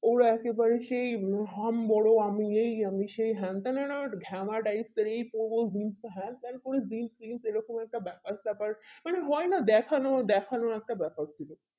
ওরা একেবারে সেই হাম বোরো আমি এই আমি সেই হ্যান ত্যান মানে একটু ঘামা type এর এই প্রবল হিংসা হ্যান ত্যান করে এই রকম একটা ব্যাপার সেপার মানে হয় না দেখানো দেখোনো একটা ব্যাপার ছিল